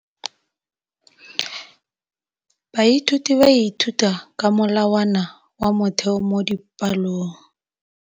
Baithuti ba ithuta ka molawana wa motheo mo dipalong.